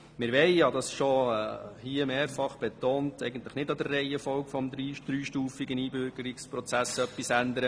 Wie ich hier schon mehrfach betont habe, wollen wir an der Reihenfolge des dreistufigen Einbürgerungsprozesses nichts ändern.